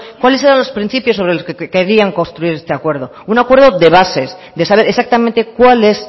cuáles eran los principios sobre los que querían construir este acuerdo un acuerdo grabazio akatsa de saber exactamente cuál es